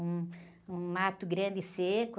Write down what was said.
Um, um mato grande seco.